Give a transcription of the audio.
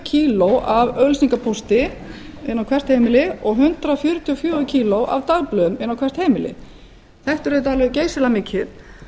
kíló af auglýsingapóstur inn á hvert heimili og hundrað fjörutíu og fjögur kíló af dagblöðum inn á hvert heimili þetta er auðvitað alveg geysilega mikið